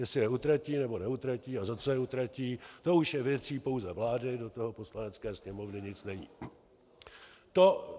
Jestli je utratí, nebo neutratí a za co je utratí, to už je věcí pouze vlády, do toho Poslanecké sněmovně nic není."